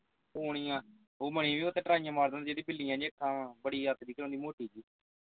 ਸੋਨੀਆ ਉਹ ਉਥੇ ਟਰਾਈਆਂ ਮਾਰਨ ਜਿਹੜੀਆਂ ਬਿੱਲੀਆਂ ਜੀ ਅੱਖਾਂ ਵਾਂ ਬੜੀ ਅੱਤ ਦੀ ਗੱਲ ਆਂ ਉਹ ਮੋਟੀ ਜੀ